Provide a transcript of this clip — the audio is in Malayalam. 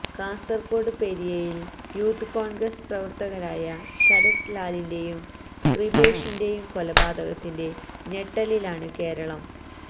കാസര്കോട് പെരിയയില് യൂത്ത് കോണ്ഗ്രസ് പ്രവര്ത്തകരായ ശരത് ലാലിന്റെയും കൃപേഷിന്റെയും കൊലപാതകത്തിന്റെ ഞെട്ടലിലാണ് കേരളം